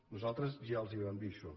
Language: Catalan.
nosaltres ja els ho vam dir això